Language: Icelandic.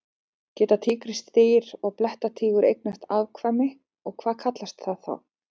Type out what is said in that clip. Geta tígrisdýr og blettatígur eignast afkvæmi og hvað kallast það þá?